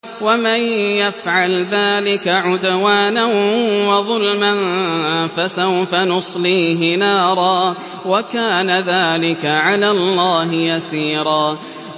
وَمَن يَفْعَلْ ذَٰلِكَ عُدْوَانًا وَظُلْمًا فَسَوْفَ نُصْلِيهِ نَارًا ۚ وَكَانَ ذَٰلِكَ عَلَى اللَّهِ يَسِيرًا